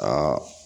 Ka